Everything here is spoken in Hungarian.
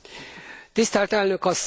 Tisztelt Elnök asszony!